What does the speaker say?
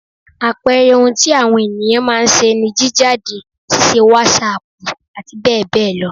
Àpẹẹrẹ ohun tí àwọn ènìyán má a ń ṣe ni jíjáde, ṣíṣe wàsáàpù àti bẹ́ẹ̀ bẹ́ẹ̀ lọ